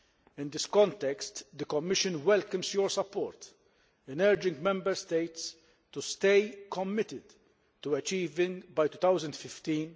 In this context, the Commission welcomes your support in urging Member States to stay committed to achieving by 2015